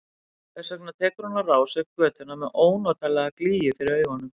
Þess vegna tekur hún á rás upp götuna með ónotalega glýju fyrir augunum.